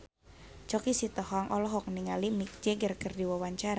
Choky Sitohang olohok ningali Mick Jagger keur diwawancara